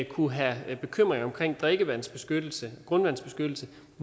kunne have bekymring omkring drikkevandsbeskyttelse grundvandsbeskyttelse